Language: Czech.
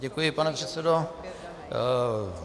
Děkuji, pane předsedo.